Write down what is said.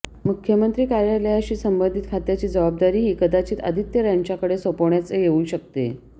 मुख्यमंत्री कार्यालयाशी संबंधित खात्याची जबाबदारीही कदाचित आदित्य यांच्याकडे सोपवण्याच येऊ शकते